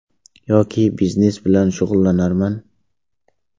Yoki biznes bilan shug‘ullanarman.